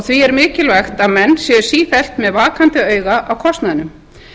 því er mikilvæg að menn séu sífellt með vakandi auga á kostnaðinum